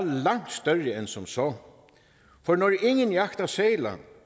langt større end som så for når ingen jagter sæler